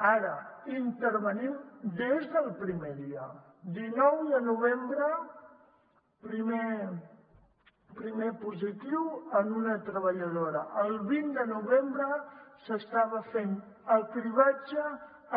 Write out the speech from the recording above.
ara intervenim des del primer dia dinou de novembre primer positiu en una treballadora el vint de novembre s’estava fent el cribratge